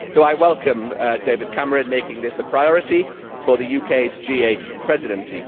So I welcome David Cameron's making this a priority for the UK's G8 Presidency.